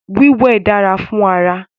Wíwẹ̀ dára fún ara